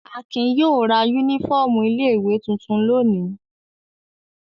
Akin yóò ra únífọ́ọ́mù ilé-ìwé tuntun lónìí.